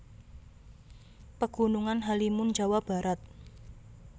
Pegunungan Halimun Jawa Barat